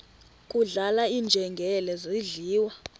kudlala iinjengele zidliwa